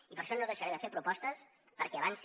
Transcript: i per això no deixaré de fer propostes perquè avanci